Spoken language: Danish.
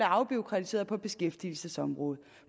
afbureaukratiseret på beskæftigelsesområdet